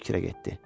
Fikrə getdi.